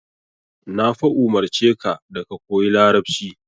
Na fa umurce ka da ka koyi Larabci.